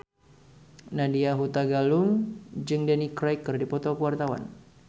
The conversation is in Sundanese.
Nadya Hutagalung jeung Daniel Craig keur dipoto ku wartawan